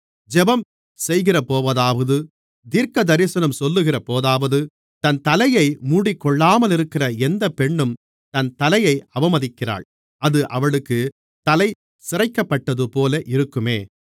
ஜெபம் செய்கிறபோதாவது தீர்க்கதரிசனம் சொல்லுகிறபோதாவது தன் தலையை மூடிக்கொள்ளாமலிருக்கிற எந்தப் பெண்ணும் தன் தலையை அவமதிக்கிறாள் அது அவளுக்குத் தலை சிரைக்கப்பட்டதுபோல இருக்குமே